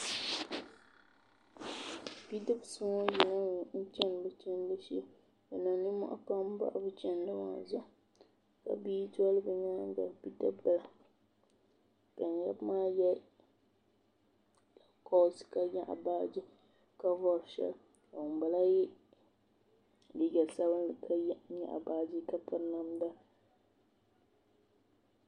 bidibisi ŋɔ yina mi n-chani bɛ chandi shee bɛ niŋ ninmɔhi pam bahi bɛ chandi maa zuɣu ka bia doli bɛ nyaaga bidib' bila ka yaba maa ye lakoos ka nyaɣi baaji ka vari shɛli ka ŋun bala ye liiga sabinli ka nyaɣi baaji ka piri namda.